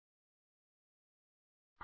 જોડાવા બદ્દલ આભાર